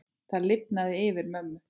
Það lifnaði yfir mömmu.